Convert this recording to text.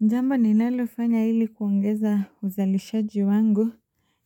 Jambo ni nalofanya hili kuongeza uzalishaji wangu